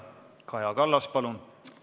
Kaja Kallas, palun!